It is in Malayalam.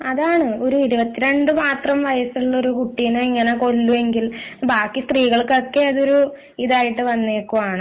അതാണ് ഒരു ഇരുപത്തി രണ്ടു വയസ്സ് മാത്രമുള്ള ഒരു കുട്ടിയെ ഇങ്ങനെ കൊല്ലുമെങ്കിൽ ബാക്കി സ്ത്രീകൾക്ക് ഇതൊരു ഇതായിട്ടു വന്നേക്കുകയാണ്